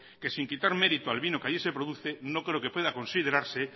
que sin quitar merito al vino que allí se produce no creo que pueda considerarse